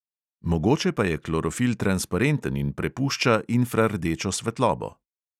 Mogoče pa je klorofil transparenten in prepušča infrardečo svetlobo.